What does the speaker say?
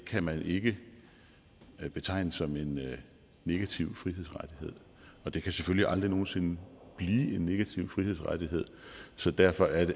kan man ikke betegnes som en negativ frihedsrettighed og det kan selvfølgelig aldrig nogen sinde blive en negativ frihedsrettighed så derfor er